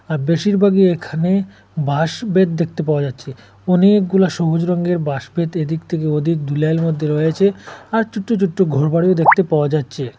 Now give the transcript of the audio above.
আর বেশিরভাগই এখানে বাঁশ-বেত দেখতে পাওয়া যাচ্ছে অনেকগুলা সবুজ রঙের বাঁশ-বেত এদিক থেকে ওদিক দু লাইল মধ্যে রয়েছে আর ছোট্ট ছোট্ট ঘর বাড়িও দেখতে পাওয়া যাচ্ছে।